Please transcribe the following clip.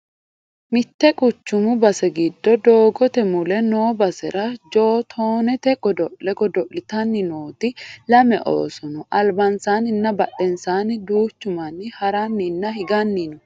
mitte quchumu base giddo doogote mule noo basera jootoonete godo'le godo'litanni nooti lame ooso no albansaanninna badhensaanni duuchu manni haranninna higanni no